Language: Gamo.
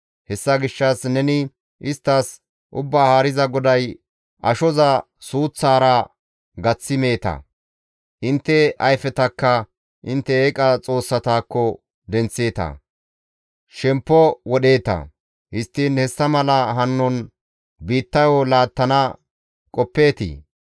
Hessa gishshas neni isttas Ubbaa Haariza GODAY, ‹Ashoza suuththaara gaththi meeta; intte ayfetakka intte eeqa xoossatakko denththeeta; shemppo wodheeta. Histtiin hessa mala hanon biittayo laattana qoppeetii?